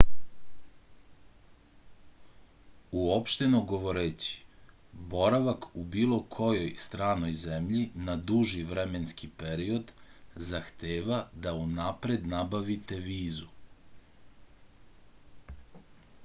uopšteno govoreći boravak u bilo kojoj stranoj zemlji na duži vremenski period zahteva da unapred nabavite vizu